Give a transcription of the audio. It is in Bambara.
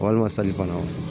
Walima kɔnɔ